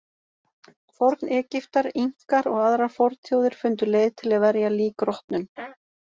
Forn-Egyptar, Inkar og aðrar fornþjóðir fundu leið til að verja lík rotnun.